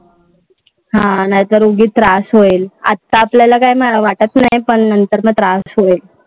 हा. नाहीतर उगीच मग त्रास होईल. आता आपल्याला काय वाट नाही, पण नंतर मग त्रास होईल.